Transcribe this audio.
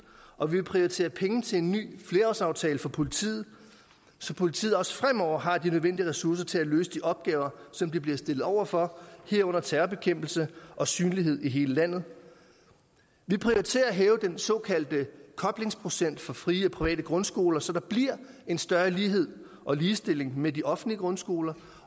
og vi prioriterer penge til en ny flerårsaftale for politiet så politiet også fremover har de nødvendige ressourcer til at løse de opgaver som de bliver stillet over for herunder terrorbekæmpelse og synlighed i hele landet vi prioriterer at hæve den såkaldte koblingsprocent for frie og private grundskoler så der bliver en større lighed og ligestilling med de offentlige grundskoler